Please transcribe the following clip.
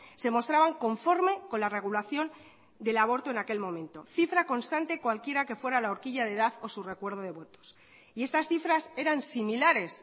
se mostraban conforme con la regulación del aborto en aquel momento cifra constante cualquiera que fuera la horquilla de edad o su recuerdo de votos y estas cifras eran similares